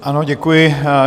Ano, děkuji.